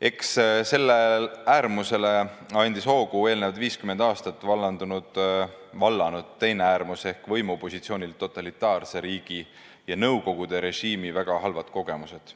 Eks sellele äärmusele andis hoogu eelnevad 50 aastat valdav olnud teine äärmus ehk võimupositsioonil olnud totalitaarse riigi ja nõukogude režiimi ajal saadud väga halvad kogemused.